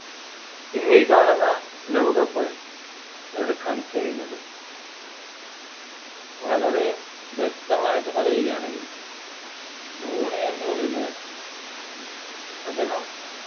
ഇന്ന് ഈ കാണുന്ന ലോകകപ്പ് എടുക്കാൻ കഴിഞ്ഞത് വളരെ വ്യക്തമായിട്ട് പറയുകയാണെങ്കിൽ ധോണി എന്ന് പറയുന്ന വ്യക്തി അദ്ദേഹം